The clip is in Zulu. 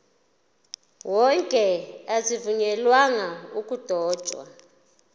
wonke azivunyelwanga ukudotshwa